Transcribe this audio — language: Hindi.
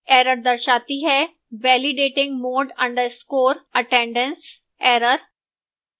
error दर्शाती है validating mod _ attendance error